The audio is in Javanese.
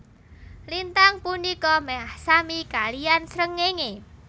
Lintang punika meh sami kaliyan srengenge